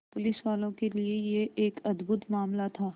पुलिसवालों के लिए यह एक अद्भुत मामला था